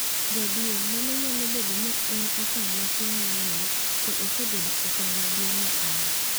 “Jaduong’, mano nyalo bedo ni ne en okang’ matin ne Neil, to osebedo okang’ maduong’ ne an.”